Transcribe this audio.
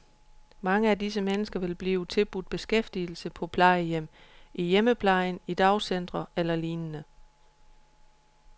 Mange af disse mennesker vil blive tilbudt beskæftigelse på plejehjem, i hjemmepleje, i dagcentre eller lignende.